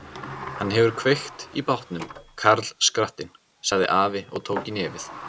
Hann hefur kveikt í bátnum, karlskrattinn, sagði afi og tók í nefið.